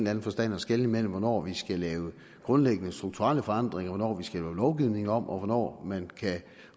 anden forstand at skelne mellem hvornår vi skal lave grundlæggende strukturelle forandringer hvornår vi skal lave lovgivningen om og hvornår man